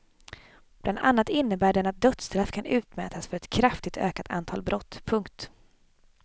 Bland annat innebär den att dödsstraff kan utmätas för ett kraftigt ökat antal brott. punkt